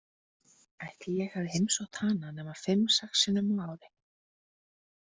Ætli ég hafi heimsótt hana nema fimm sex sinnum á ári.